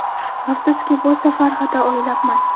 Afsuski bu safar xato o‘ylabman.